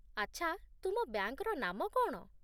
ଆଚ୍ଛା, ତୁମ ବ୍ୟାଙ୍କର ନାମ କ'ଣ ?